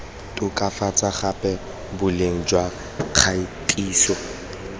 tokafatsa gape boleng jwa kgatiso